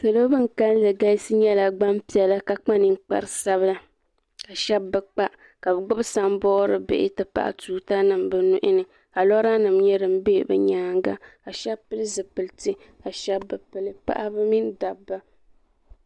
salo bin kanli galisi nyɛla gbanpiɛla ka kpa ninkpari sabila ka shab bi kpa ka bi gbubi sanbood bihi ti pahi tuuta nim bi nuuni ka lora nim nyɛ din bɛ bi nyaanga ka shab pili zipiliti ka shab bi pili paɣaba mini dabba